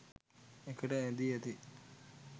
එකට ඈඳී ඇති